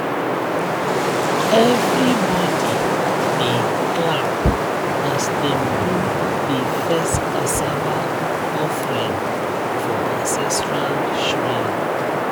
everybody dey clap as dem do the first cassava offering for ancestral shrine.